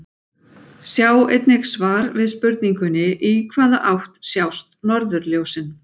Sjá einnig svar við spurningunni Í hvaða átt sjást norðurljósin?